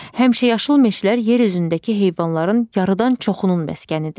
Həmişəyaşıl meşələr yer üzündəki heyvanların yarıdan çoxunun məskənidir.